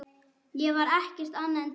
Ég var ekkert annað en tær ást.